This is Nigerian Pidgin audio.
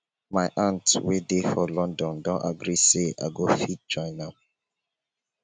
my aunt wey dey for london don agree say i go fit join am